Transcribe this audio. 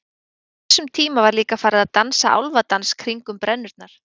á þessum tíma var líka farið að dansa álfadans kringum brennurnar